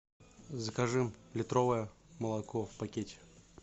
закажи литровое молоко в пакете